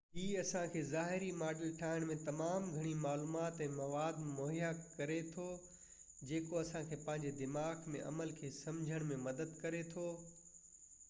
هي اسان کي ظاهري ماڊل ٺاهڻ ۾ تمام گهڻي معلومات ۽ مواد مهيا ڪري ٿو جيڪو اسان کي پنهنجي دماغ ۾ عمل کي سمجهڻ ۾ مدد ڪري ٿو